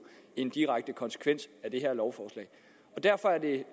en direkte konsekvens af det her lovforslag derfor er det